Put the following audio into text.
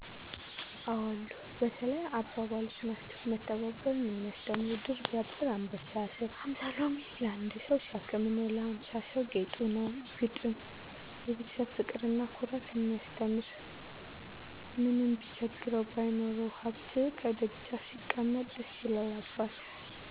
አዎ አሉ። በተለይ አባባሎች ናቸው። መተባበርን የሚያስተምሩ ድር ቢያብር አንበሣ ያስር። ሀምሣ ሎሚ ለአንድ ሠው ሸክም ነው ለሀምሣ ሠው ጌጡ ነው። ግጥም፦ የቤተሠብ ፍቅርና ኩራት ያስተምራል። ምንም ቢቸግረው ባይኖረውም ሀብት፤ ከደጃፍ ሲቀመጥ ደስ ይላል አባት።